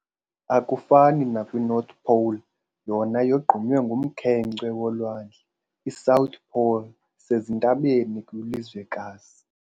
Akufani nakwi"North pole", yona yogqunywe ngumkhenkce wolwandle, i"South pole" isezintabeni kwilizwekazi.